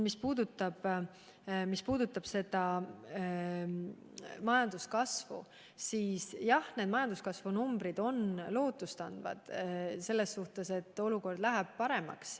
Mis puudutab majanduskasvu, siis jah, majanduskasvu numbrid annavad lootust, et olukord läheb paremaks.